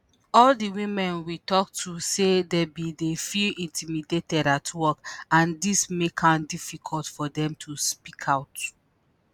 all di women we tok to say dem bin dey feel intimidated at work - and dis make am difficult for dem to speak out.